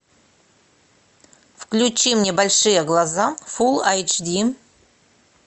включи мне большие глаза фул айч ди